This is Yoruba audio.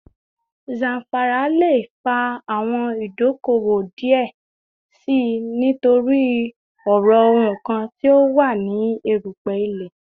Zamfara le fa awọn idoko-owo diẹ sii nitori ọrọ nkan ti o wa ni erupe ile